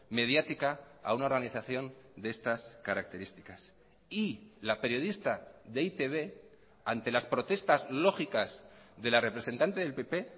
mediática a una organización de estas características y la periodista de e i te be ante las protestas lógicas de la representante del pp